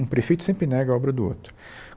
Um prefeito sempre nega a obra do outro.